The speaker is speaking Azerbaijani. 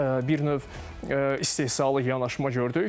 Bir növ istehsalı yanaşma gördük.